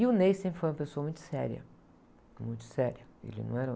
E o Ney sempre foi uma pessoa muito séria, muito séria. Ele não era...